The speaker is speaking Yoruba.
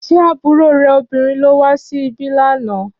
Ṣé àbúrò rẹ obìnrin ló wá sí ibí lá nà?